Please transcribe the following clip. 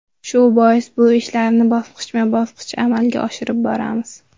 Shu bois, bu ishlarni bosqichma-bosqich amalga oshirib boramiz.